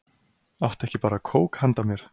Áttu ekki bara kók handa mér?